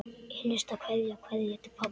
HINSTA KVEÐJA Kveðja til pabba.